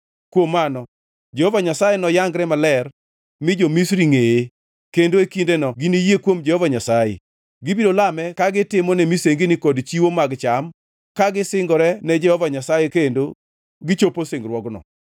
Kuom mano Jehova Nyasaye noyangre maler mi jo-Misri ngʼeye, kendo e kindeno giniyie kuom Jehova Nyasaye. Gibiro lame ka gitimone misengini kod chiwo mag cham; ka gisingore ne Jehova Nyasaye kendo gichopo singruokno.